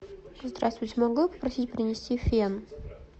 здравствуйте могу я попросить принести фен